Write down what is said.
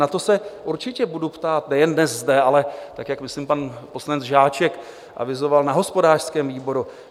Na to se určitě budu ptát nejen dnes zde, ale tak, jak myslím pan poslanec Žáček avizoval, na hospodářském výboru.